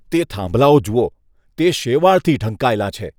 તે થાંભલાઓ જુઓ. તે શેવાળથી ઢંકાયેલાં છે.